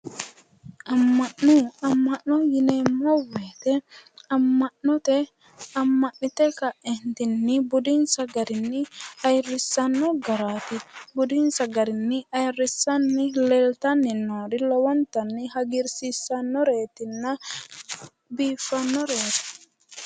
Amma'no. Amma'no yineemmo woyite amma'note amma'nite ka'eentinni budinsa garinni ayirissanno garaati. Budinsa garinni ayirissanni leeltanni noori lowontanni hagiirsiissannoreetinna biiffannoreeti.